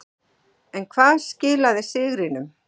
En hvað skilaði sigrinum.